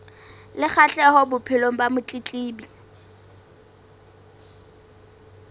le kgahleho bophelong ba motletlebi